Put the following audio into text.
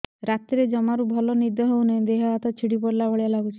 ରାତିରେ ଜମାରୁ ଭଲ ନିଦ ହଉନି ଦେହ ହାତ ଛିଡି ପଡିଲା ଭଳିଆ ଲାଗୁଚି